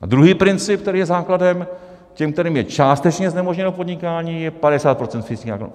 A druhý princip, který je základem: těm, kterým je částečně znemožněno podnikání, je 50 % fixních nákladů.